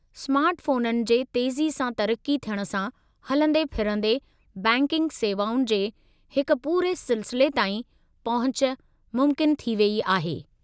स्मार्टफोननि जे तेज़ी सां तरक़्क़ी थियण सां, हलंदे-फिरंदे बैंकिंग सेवाउनि जे हिक पूरे सिलसिले ताईं पहुच मुमकिन थी वई आहे।